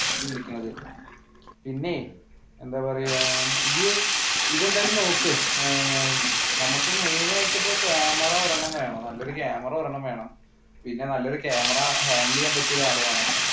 വിളിക്കണത് പിന്നെ എന്താ പറയുക ഇയ്യ്‌ അതെന്തായാലും നോക്ക് നമുക്ക് മെയിൻ ആയിട്ട് ഇപ്പ camera ഒരെണ്ണം വേണം നല്ല ക്യാമറ ഒരെണ്ണം വേണം പിന്നെ നല്ലൊരു camerahandle ചെയ്യാൻ പറ്റിയ ഒരാൾ വേണം.